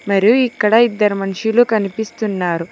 మరియు ఇక్కడ ఇద్దరు మనుషులు కనిపిస్తున్నారు